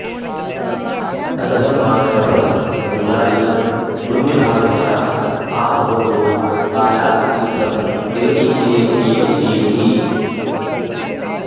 अतः मानवः गङ्गाजलं पुण्यभावनया आबहोः कालत् तीर्थम् इव किञ्चिदेव पिबन् जीवति